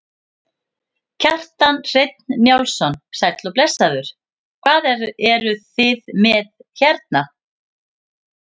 Kjartan Hreinn Njálsson: Sæll og blessaður, hvað eruð þið með hérna?